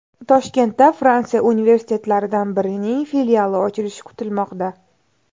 Toshkentda Fransiya universitetlaridan birining filiali ochilishi kutilmoqda.